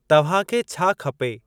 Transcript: तव्हांखे छा खपे?